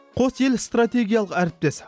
қос ел стратегиялық әріптес